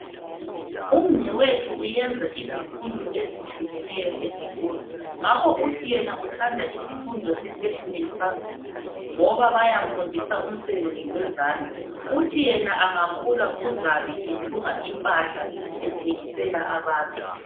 Umnwethu uyenza izifundo ezitshiyeneyo esikolo ngakho uthi yena uthanda sifundo se fashion and fabrics ngoba bayamfundisa umsebenzi wezandla uthi yena engakhula uzabe ethunga impahla ethengisela abantu.